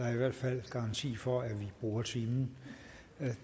er i hvert fald garanti for at vi bruger timen